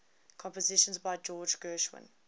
compositions by george gershwin